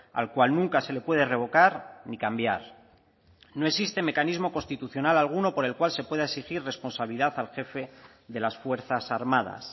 al cual nunca se le puede revocar ni cambiar no existe mecanismo constitucional alguno por el cual se pueda exigir responsabilidad al jefe de las fuerzas armadas